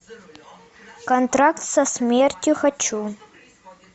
контракт со смертью хочу